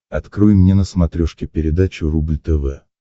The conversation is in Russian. открой мне на смотрешке передачу рубль тв